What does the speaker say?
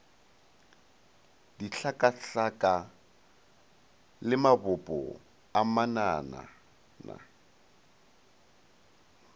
dihlakahlaka le mabopo a mananana